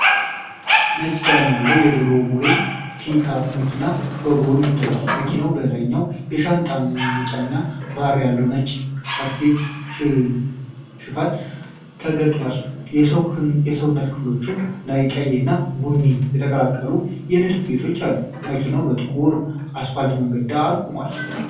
ነጭ ቀለም ያለው የድሮ ሞዴል ፒክአፕ መኪና ከጎን ታይቷል። መኪናው በላይኛው የሻንጣ መጫኛ ባር ያለው ነጭ ካምፒር ሽፋን ተገጥሞለታል። የሰውነት ክፍሎቹ ላይ ቀይ እና ቡኒ የተቀላቀሉ የንድፍ ጌጦች አሉት። መኪናው በጥቁር አስፋልት መንገድ ዳር ቆሟል።